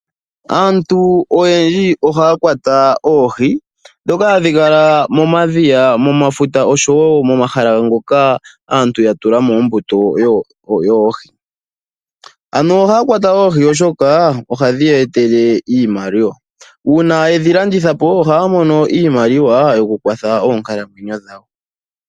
Aantu oyendji ohaya kwata oohi dhoka hadhi kala momadhiya, momafuta oshowo momahala ngoka aantu ya tula mo oombuto yoohi. Aantu ohaya kwata oohi oshoka ohadhi ya etele iimaliwa. Uuna ye dhi landitha po ohaya mono iimaliwa yo ku kwatha oonkalamweyo dhawo.